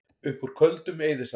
Upp úr Köldum eyðisandi